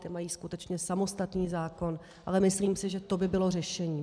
Ti mají skutečně samostatný zákon, ale myslím si, že to by bylo řešení.